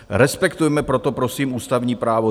Respektujme proto prosím ústavní právo.